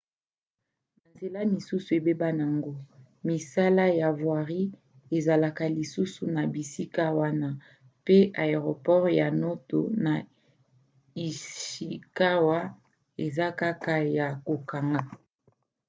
banzela mosusu ebeba na yango misala ya voirie ezalaka lisusu na bisika wana mpe aeroport ya noto na ishikawa eza kaka ya kokanga